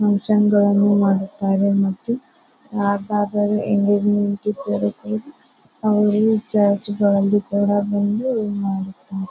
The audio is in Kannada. ಫುನ್ಕ್ಷನ್ ಗಳನ್ನೂ ಮಾಡುತ್ತಾರೆ ಮತ್ತು ಯಾರದಾದ್ರೂ ಎಂಗೇಜ್ಮೆಂಟ್ ಇದ್ದರೆ ಅಲ್ಲಿ ಚರ್ಚ್ ಗಳಲ್ಲಿ ಕೂಡ ಬಂದು ಇಲ್ಲಿ ಮಾಡುತ್ತಾರೆ .